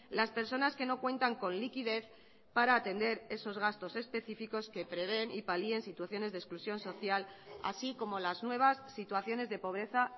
las personas que no cuentan con liquidez para atender esos gastos específicos que prevén y palien situaciones de exclusión social así como las nuevas situaciones de pobreza